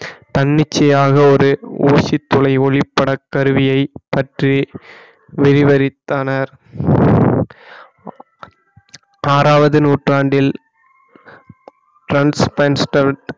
தன்னிச்சையாக ஒரு ஊசி துளை ஒளிப்பட கருவியை பற்றி விரிவறித்தனர் ஆறாவது நூற்றாண்டில்